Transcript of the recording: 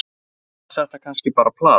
var þetta kannski bara plat